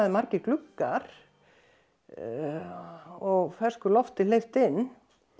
margir gluggar og fersku lofti hleypt inn